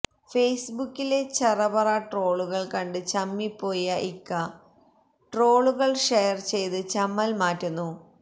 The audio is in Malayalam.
ഫേസ്ബുക്കിലെ ചറപറാ ട്രോളുകള് കണ്ട് ചമ്മിപ്പോയ ഇക്ക ട്രോളുകള് ഷെയര് ചെയ്ത് ചമ്മല് മാറ്റുന്നു